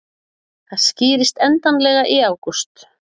Það skýrist endanlega í ágúst